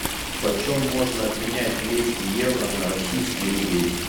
почем можно обменять двести евро на российские рубли